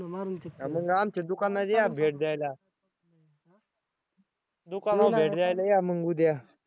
हां मग आमच्या दुकानात या भेट द्यायला दुकानात भेट द्यायला या मग उद्या.